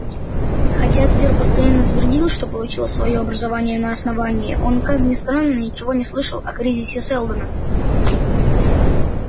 хотя твер постоянно твердил что получил своё образование на основании он как ни странно ничего не слышал о кризисе сэлдона